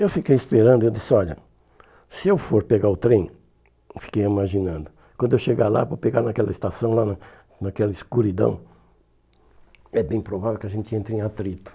Eu fiquei esperando e eu disse, olha, se eu for pegar o trem, fiquei imaginando, quando eu chegar lá, vou pegar naquela estação lá, naquela escuridão, é bem provável que a gente entre em atrito.